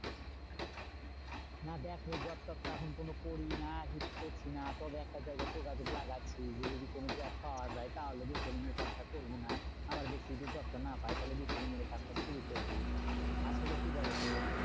না দেখো job টব তো এখন কোনো করি না কিছু করছি না। তবে একটা জায়গায় যোগাযোগ লাগাচ্ছি যে, যদি কোনো job পাওয়া যায় তাহলে retailing এর কাজটা করবো না। আবার দেখছি যে job টা পাই তাহলে retailing এর কাজটা শুরু করবো, আসলে কি বলতো?